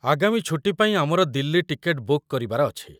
ଆଗାମୀ ଛୁଟୀ ପାଇଁ ଆମର ଦିଲ୍ଲୀ ଟିକେଟ ବୁକ୍ କରିବାର ଅଛି।